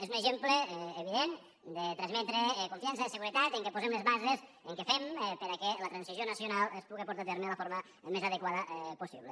és un exemple evident de transmetre confiança de seguretat que posem les bases que fem perquè la transició nacional es puga portar a terme de la forma més adequada possible